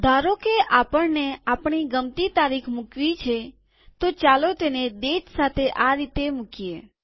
ધારોકે આપણને આપણી ગમતી તારીખ મુકવી છેતો ચાલો તેને ડેટ સાથે આ રીતે મુકીએ